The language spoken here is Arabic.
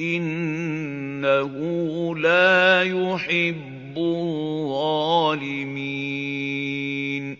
إِنَّهُ لَا يُحِبُّ الظَّالِمِينَ